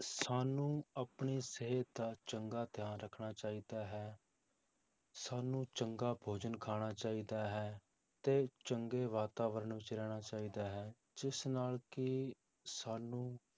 ਸਾਨੂੰ ਆਪਣੀ ਸਿਹਤ ਦਾ ਚੰਗਾ ਧਿਆਨ ਰੱਖਣਾ ਚਾਹੀਦਾ ਹੈ ਸਾਨੂੰ ਚੰਗਾ ਭੋਜਨ ਖਾਣਾ ਚਾਹੀਦਾ ਹੈ ਤੇ ਚੰਗੇ ਵਾਤਾਵਰਨ ਵਿੱਚ ਰਹਿਣਾ ਚਾਹੀਦਾ ਹੈ, ਜਿਸ ਨਾਲ ਕਿ ਸਾਨੂੰ